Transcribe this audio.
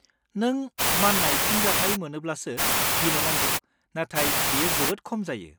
नों मान्नाय फिनजाथाय मोनोब्लासो गिनो नांगौ नाथाय बेयो जोबोद खम जायो।